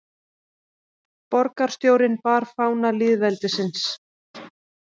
Borgarstjórinn bar fána lýðveldisins